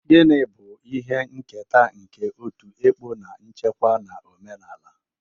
Gini bu ihe nketa nke otu ekpo na-echekwa na omenala?